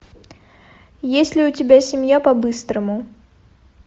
есть ли у тебя семья по быстрому